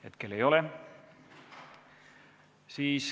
Hetkel ei ole.